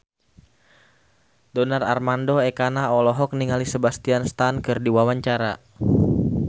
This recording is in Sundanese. Donar Armando Ekana olohok ningali Sebastian Stan keur diwawancara